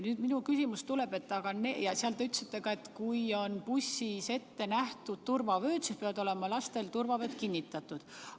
Te ütlesite ka seda, et kui bussis on ette nähtud turvavööd, siis peavad lastel olema turvavööd kinnitatud.